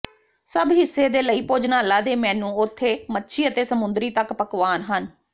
ਸਭ ਹਿੱਸੇ ਦੇ ਲਈ ਭੋਜਨਾਲਾ ਦੇ ਮੇਨੂ ਉਥੇ ਮੱਛੀ ਅਤੇ ਸਮੁੰਦਰੀ ਤੱਕ ਪਕਵਾਨ ਹਨ